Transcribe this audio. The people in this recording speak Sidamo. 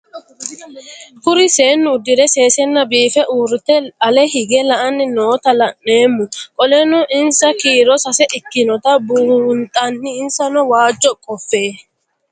Kuri seenu udire sesena biife urite ale hige la'ani noota la'nemo qoleno insa kiiro sase ikinotana bunxana insano waajo qofe?